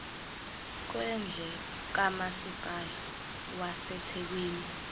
kwendle kamasipala wasethekwini